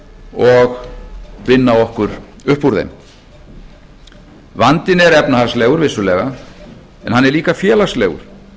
og vinna okkur upp úr þeim vandinn er efnahagslegur vissulega en hann er líka félagslegur hann